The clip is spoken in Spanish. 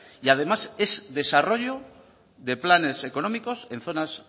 y además es desarrollo de planes económicos en zonas